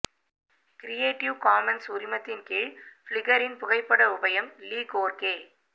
creative commons உரிமத்தின் கீழ் பிளிக்கரின் புகைப்பட உபயம் லீ கோர்கே